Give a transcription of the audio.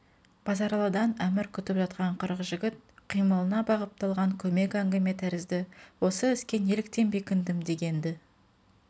базаралыдан әмір күтіп жатқан қырық жігіт қимылына бағыпталған көмек әңгіме тәрізді осы іске неліктен бекіндім дегенді